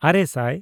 ᱟᱨᱮᱼᱥᱟᱭ